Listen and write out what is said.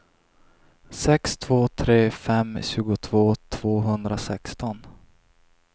sex två tre fem tjugotvå tvåhundrasexton